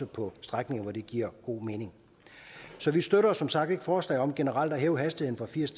på strækninger hvor det giver god mening så vi støtter som sagt ikke forslaget om generelt at hæve hastigheden fra firs